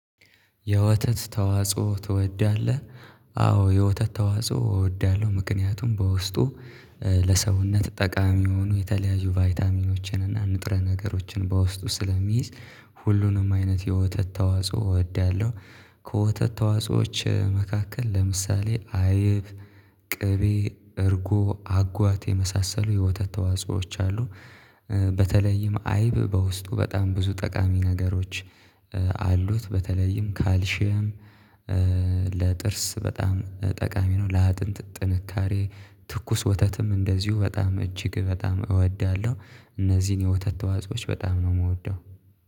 የወተት ተዋጽኦ ትወዳለህ? አዎ የወተት ተዋጽኦ እወዳለሁ። ምክንያቱም በውስጡ ለሰውነት ጠቃሚ የሆኑ የተለያዩ ቫይታሚኖችን እና ንጥረ ነገሮችን በውስጡ ስለሚይዝ። ሁሉንም አይነት የወተት ተዋጽኦ እወዳለሁ። ከወተት ተዋጽኦዎች መካከል ለምሳሌ አይብ ቅቤ እርጎ አጓት የመሳሰሉ የወተት ተዋጾዎች አሉ። በተለይም አይብ በውስጡ በጣም ብዙ ጠቃሚ ነገሮች አሉት በተለይም ካልሺየም። ለጥርስ በጣም ጠቃሚ ነው። ለአጥንት ጥንካሬ ትኩስ ወተትም እንደዚሁ በጣም እጅግ በጣም እወዳለሁ እነዚህን የወተት ተዋጾዎች በጣም ነው የምወደው